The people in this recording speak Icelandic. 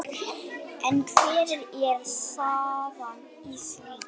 En hvernig er staðan í því?